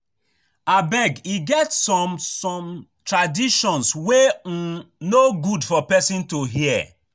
Abeg e get some some traditions wey um no good for person to hear